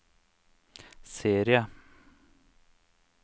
serie